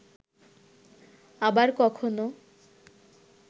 আবার কখনো